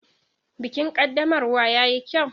Bikin ƙaddamarwa yayi kyau.